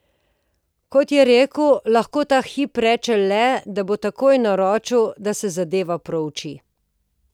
Kot je dejal, lahko ta hip reče le, da bo takoj naročil, da se zadeva prouči.